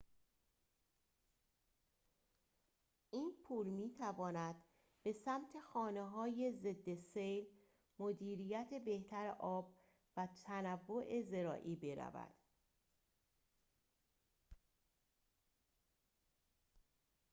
این پول می‌تواند به سمت خانه‌های ضد سیل مدیریت بهتر آب و تنوع زراعی برود